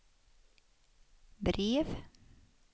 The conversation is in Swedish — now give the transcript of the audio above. brev